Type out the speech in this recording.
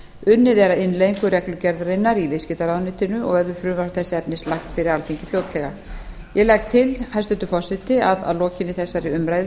unnið er að innleiðingu reglugerðarinnar í viðskiptaráðuneytinu og verður frumvarp þess efnis lagt fyrir alþingi fljótlega ég legg til hæstvirtur forseti að að lokinni þessari umræðu